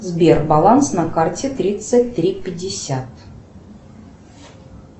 сбер баланс на карте тридцать три пятьдесят